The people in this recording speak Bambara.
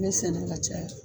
Me sɛnɛ ka caya